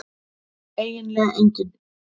eiginlega enginn